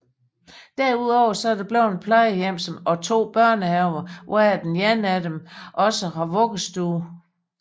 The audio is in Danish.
Derudover er der et plejehjem samt to børnehaver hvoraf den ene også har vuggestue